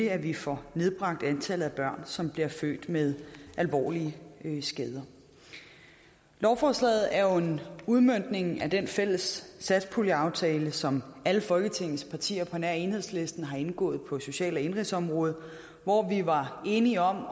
at vi får nedbragt antallet af børn som bliver født med alvorlige skader lovforslaget er jo en udmøntning af den fælles satspuljeaftale som alle folketingets partier på nær enhedslisten har indgået på social og indenrigsområdet hvor vi var enige om